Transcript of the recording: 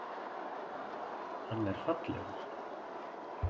Hann er fallegur.